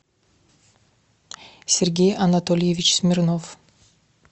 сергей анатольевич смирнов